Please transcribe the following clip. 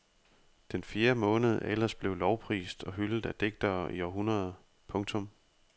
Den fjerde måned er ellers blevet lovprist og hyldet af digtere i århundreder. punktum